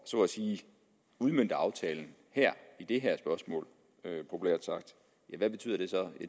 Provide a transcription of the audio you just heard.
at udmønte aftalen i det her spørgsmål ja hvad betyder det så